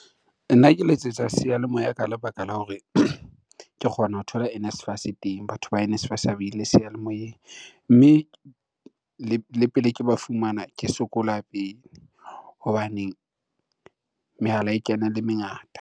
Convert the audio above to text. Nna ke letsetsa sealemoya ka lebaka la hore ke kgona ho thola NSFAS teng, batho ba NSFAS ha ba ile seyalemoyeng. Mme le pele ke ba fumana ke sokola pele hobaneng mehala e kena e le mengata.